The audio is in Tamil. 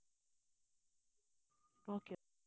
okay